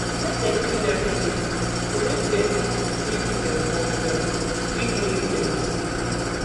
make dem clean everyday go make dem fit do dem work well quick know if dem dey sick